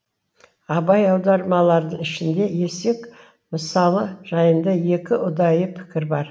абай аудармалардың ішінде есек мысалы жайында екі ұдайы пікір бар